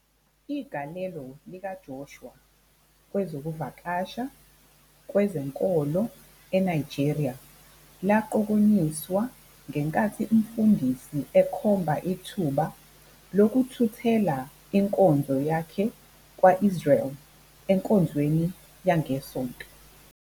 Igalelo likaJoshua kwezokuvakasha kwezenkolo eNigeria laqokonyiswa ngenkathi umfundisi ekhomba ithuba lokuthuthela inkonzo yakhe kwa-Israyeli enkonzweni yangeSonto.